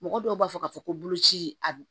Mɔgɔ dɔw b'a fɔ k'a fɔ ko boloci a bi